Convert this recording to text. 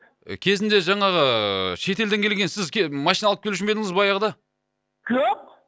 кезінде жаңағы ыыы шет елден келген сіз машина алып келу ше ма едіңіз баяғыда жоқ